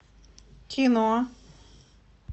кино